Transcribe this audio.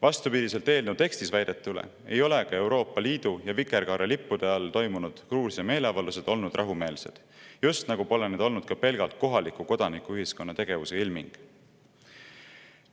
Vastupidiselt eelnõu tekstis väidetule ei ole ka Euroopa Liidu ja vikerkaarelippude all toimunud Gruusia meeleavaldused olnud rahumeelsed, just nagu pole need olnud ka pelgalt kohaliku kodanikuühiskonna tegevuse ilming.